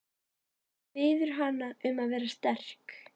Biður hana um að vera sterk.